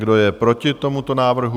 Kdo je proti tomuto návrhu?